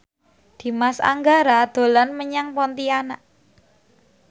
Dimas Anggara dolan menyang Pontianak